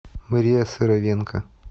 мария сыровенко